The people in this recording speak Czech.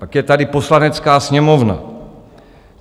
Pak je tady Poslanecká sněmovna.